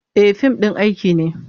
E, fim ɗin aiki ne.